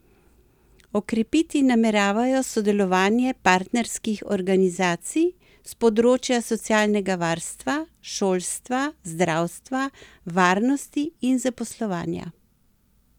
Okrepiti nameravajo sodelovanje partnerskih organizacij s področja socialnega varstva, šolstva, zdravstva, varnosti in zaposlovanja.